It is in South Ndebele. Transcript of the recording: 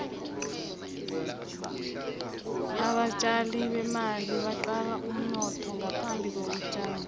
abatjali bemali baqala umnotho ngaphambi kokutjala